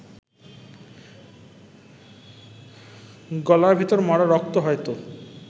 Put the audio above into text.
গলার ভেতর মরা রক্ত হয়তো